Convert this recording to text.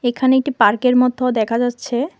এখানে একটি পার্কের মতো দেখা যাচ্ছে।